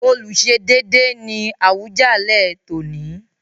Olùsedéédé” ni Awùjalẹ̀ tòní.